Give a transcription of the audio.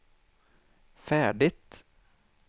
färdigt